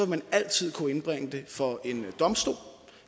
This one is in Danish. man altid kunne indbringe det for en domstol